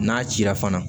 N'a cira fana